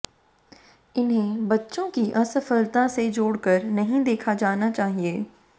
इन्हें बच्चों की असफलता से जोड़कर नहीं देखा जाना चाहिए